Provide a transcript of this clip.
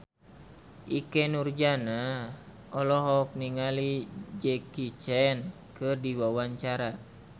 Ikke Nurjanah olohok ningali Jackie Chan keur diwawancara